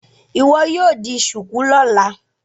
Iwọ yíò dì shuku lọla!